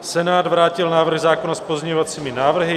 Senát vrátil návrh zákona s pozměňovacími návrhy.